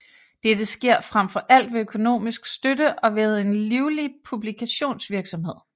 Dette sker frem for alt ved økonomisk støtte og ved en livlig publikationsvirksomhed